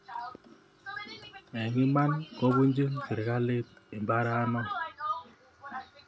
Eng iman kopunchin sirikalit imbare no